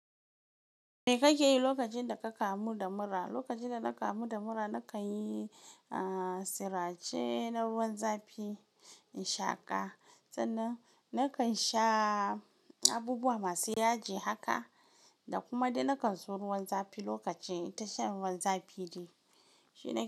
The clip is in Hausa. Me kake yi lokacin da ka kamu da mura? Lokacin da na kamu da mura, na kan yi, ah, sirace na ruwan zafi in shaƙa. Sannan na kan sha abubuwa masu yaji haka, da kuma dai na kan so ruwan zafi lokaci in tashan ruwan zafi de. Shi ne.